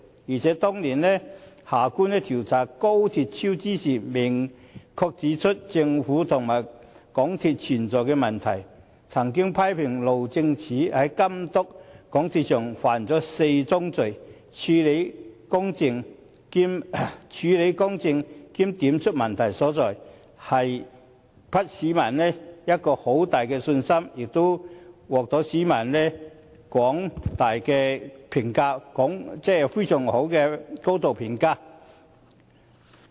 而且，當年夏官調查廣深港高鐵香港段工程超支時，明確指出政府和港鐵公司問題所在，批評路政署在監督港鐵公司上犯了4宗罪，處事公正並指出問題所在，給予市民很大的信心，亦獲廣大市民高度評價。